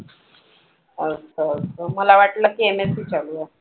असं असं मला वाटलं की MSc चालू आहे.